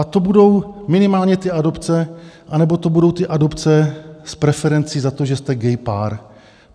A to budou minimálně ty adopce, anebo to budou ty adopce s preferencí za to, že jste gay pár.